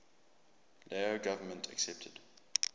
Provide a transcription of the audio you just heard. lao government accepted